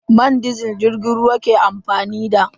Man disil jirgin ruwa ke amfani da.